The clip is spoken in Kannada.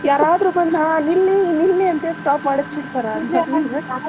ಯಾರಾದ್ರೂ ಬಂದು ಹಾ ನಿಲ್ಲಿ ನಿಲ್ಲಿ ಅಂತ್ಹೇಳಿ stop ಮಾಡೀಸ್ಬಿಡ್ತಾರ